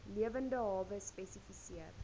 lewende hawe spesifiseer